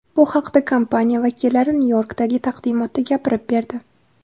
Bu haqda kompaniya vakillari Nyu-Yorkdagi taqdimotda gapirib berdi.